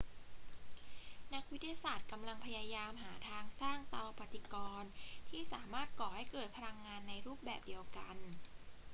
นักวิทยาศาสตร์กำลังพยายามหาทางสร้างเตาปฏิกรณ์ที่สามารถก่อให้เกิดพลังงานในรูปแบบเดียวกัน